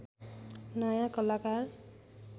नयाँ कलाकार